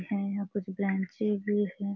हैं यहाँ कुछ बेंचें भी हैं।